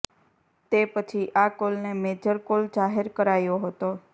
તે પછી આ કોલને મેજર કોલ જાહેર કરાયો હતો